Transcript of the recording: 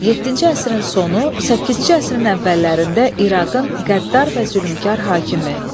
Yeddinci əsrin sonu, səkkizinci əsrin əvvəllərində İraqın qəddar və zülmkar hakimi.